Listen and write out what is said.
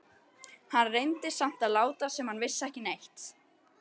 Hann reyndi samt að láta sem hann vissi ekki neitt.